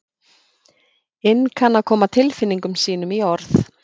inn kann að koma tilfinningum sínum í orð.